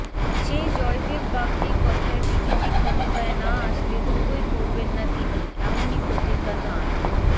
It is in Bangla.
সেই জয়দেব বাগদীর কথায় বিজেপি ক্ষমতায় না আসলে জুতোই পরবেন না তিনি এমনই প্রতিজ্ঞা তাঁর